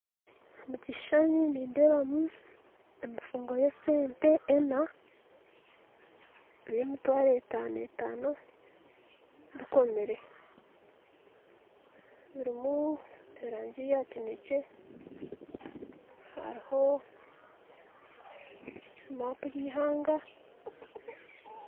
Omukishushani nindeebamu emifungo yesente ena eyemitwaro etaano etaano bikomire birimu erangi ya kinekye hariho maapu yeihanga